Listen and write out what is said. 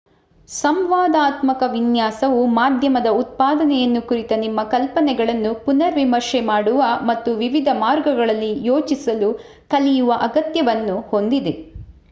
ಸಂವಾದಾತ್ಮಕ ವಿನ್ಯಾಸವು ಮಾಧ್ಯಮದ ಉತ್ಪಾದನೆಯನ್ನು ಕುರಿತ ನಿಮ್ಮ ಕಲ್ಪನೆಗಳನ್ನು ಪುನರ್ ವಿಮರ್ಶೆ ಮಾಡುವ ಮತ್ತು ವಿವಿಧ ಮಾರ್ಗಗಳಲ್ಲಿ ಯೋಚಿಸಲು ಕಲಿಯುವ ಅಗತ್ಯವನ್ನು ಹೊಂದಿದೆ